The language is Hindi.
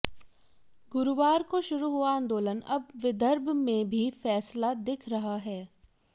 गुरुवार को शुरू हुआ आंदोलन अब विदर्भ में भी फैसला दिख रहा है